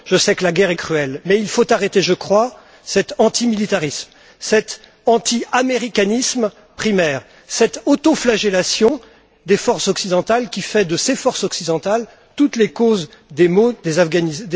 Je sais que la guerre est cruelle, mais il faut arrêter, je crois, cet antimilitarisme, cet anti américanisme primaire, cette auto flagellation des forces occidentales, qui fait de ces forces occidentales toutes les causes des maux des Afghans.